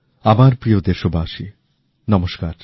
আমার প্রিয় দেশবাসী নমস্কার